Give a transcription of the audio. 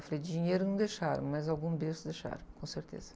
Eu falei, dinheiro não deixaram, mas algum berço deixaram, com certeza.